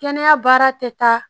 Kɛnɛya baara tɛ taa